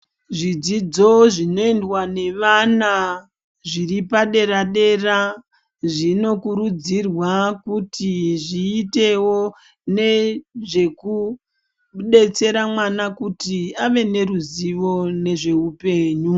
Zvidzidzo zvinoendwa nevana zviripadera-dera, zvinokurudzirwa kuti zviitevo nezvekubetsera mwana kuti ave neruzivo nezveupenyu.